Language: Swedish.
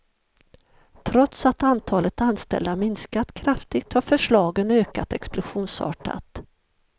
Trots att antalet anställda minskat kraftigt har förslagen ökat explosionsartat.